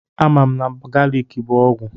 Amam na galiki bụ ọgwụ.